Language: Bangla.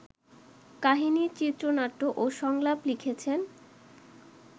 কাহিনি, চিত্রনাট্য ও সংলাপ লিখেছেন